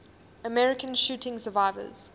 american shooting survivors